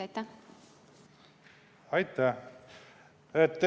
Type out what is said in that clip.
Aitäh!